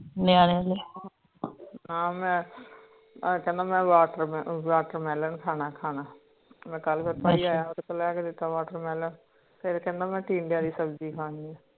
ਹਾਂ ਮੈਂ ਕਹਿੰਦਾ ਮੈਂ watermelon ਖਾਣਾ ਖਾਣਾ ਉਦ੍ਹੇ ਕੋਲ ਲੈਕੇ ਦਿਤਾ watermelon ਫੇਰ ਕਹਿੰਦਾ ਮੈਂ ਟੀਂਡੇ ਦੀ ਸਬਜ਼ੀ ਖਾਣੀ ਆ